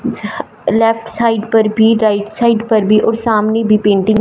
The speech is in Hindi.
लेफ्ट साइड पर भी राइट साइड पर भी और सामने भी पेंटिंग --